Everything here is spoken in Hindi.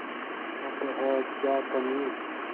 अब है क्या कमीं